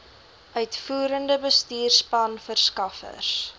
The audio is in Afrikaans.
uitvoerende bestuurspan verskaffers